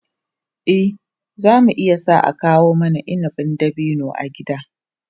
Eh, za mu iya sa a kawo mana inabin dabino a gida.